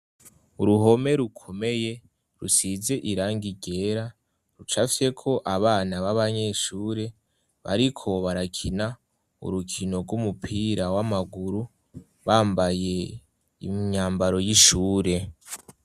Uruhome rukomeye, rusize irangi ryera, rucafyeko abana b'abanyeshure bariko barakina urukino rw'umupira w'amaguru, bambaye imyambaro y'ishure.